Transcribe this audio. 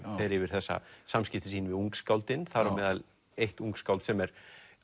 fer yfir þessi samskipti sín við ungskáldin þar á meðal eitt ungskáld sem er